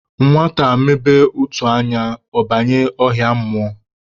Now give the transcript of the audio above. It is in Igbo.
Nwata mebe ụtụ anya, ọ banye ọhịa mmụọ